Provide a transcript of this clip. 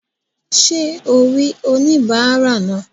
Sé o rí oníbàárà náà?